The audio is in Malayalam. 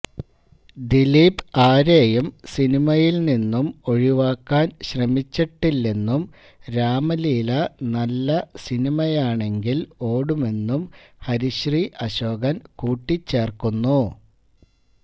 ദിലീപ് ആരെയും സിനിമയില് നിന്നും ഒഴിവാക്കാന് ശ്രമിച്ചിട്ടില്ലെന്നും രാമലീല നല്ല സിനിമയാണെങ്കില് ഒടുമെന്നും ഹരിശ്രീ അശോകന് കൂട്ടിച്ചേര്ക്കുന്നു